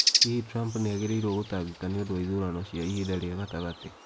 Hihi Trump nĩ agĩrĩirũo gũtangĩka nĩ ũndũ wa ithurano cia ihinda rĩa gatagatĩ?